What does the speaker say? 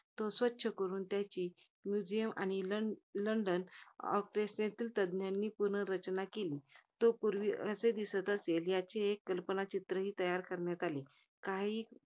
तो स्वच्छ करून त्याची museum आणि लं~ london of perspective यांनी पुनर्रचना केली. तो पूर्वी कसे दिसत असेल, याचे एक कल्पना चित्रही तयार करण्यात आले. काही,